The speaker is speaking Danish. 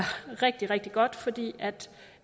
rigtig rigtig godt fordi